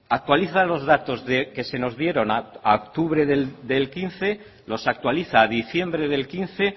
actualiza los datos que se nos dieron a octubre de dos mil quince los actualiza a diciembre de dos mil quince